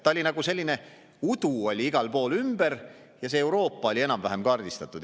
Oli nagu selline udu igal pool ümberringi ja vaid Euroopa oli enam-vähem kaardistatud.